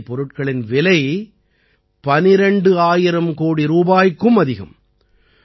இந்த போதைப் பொருட்களின் விலை 12000 கோடி ரூபாய்க்கும் அதிகம்